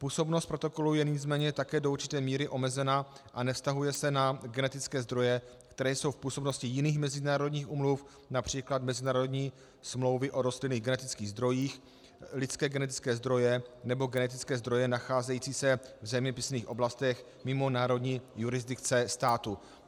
Působnost protokolu je nicméně také do určité míry omezena a nevztahuje se na genetické zdroje, které jsou v působnosti jiných mezinárodních úmluv, například mezinárodní smlouvy o rostlinných genetických zdrojích, lidské genetické zdroje nebo genetické zdroje nacházející se v zeměpisných oblastech mimo národní jurisdikce států.